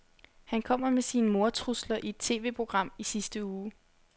Han kom med sine mordtrusler i et TVprogram i sidste uge.